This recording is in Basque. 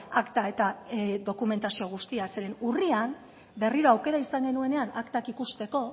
akta eta dokumentazio guztia zeren urrian berriro aukera izan genuenean aktak ikusteko